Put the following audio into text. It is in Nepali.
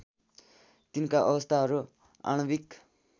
तिनका अवस्थाहरू आणविक